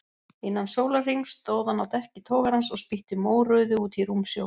Innan sólarhrings stóð hann á dekki togarans og spýtti mórauðu út í rúmsjó.